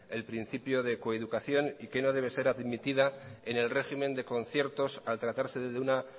el principio de coeducación y que no debe ser admitida en el régimen de conciertos al tratarse de una